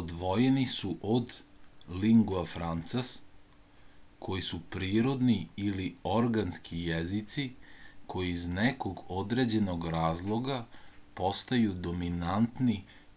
odvojeni su od lingua francas koji su prirodni ili organski jezici koji iz nekog određenog razloga postaju dominantni